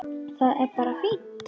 Það er bara fínt.